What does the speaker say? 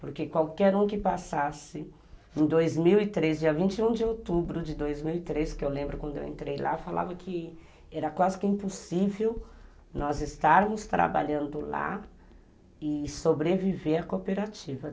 Porque qualquer um que passasse de dois mil e três, dia vinte e um de outubro de dois mil e três, que eu lembro quando eu entrei lá, falava que era quase que impossível nós estarmos trabalhando lá e sobreviver à cooperativa.